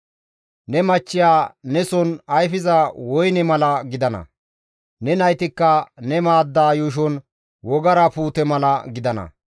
Ne machchiya neson ayfiza woyne mala gidana; ne naytikka ne maadda yuushon wogara puute mala gidana.